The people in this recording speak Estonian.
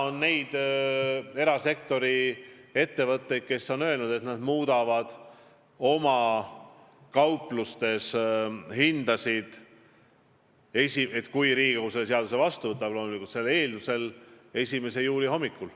Osa erasektori ettevõtteid on juba öelnud, et nad muudavad oma kauplustes hindasid, kui Riigikogu selle seaduse vastu võtab, 1. juuli hommikul.